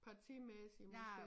Partimæssigt måske